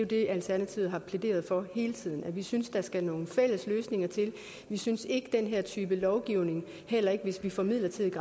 det alternativet har plæderet for hele tiden nemlig at vi synes der skal nogle fælles løsninger til vi synes ikke den her type lovgivning heller ikke hvis vi får midlertidig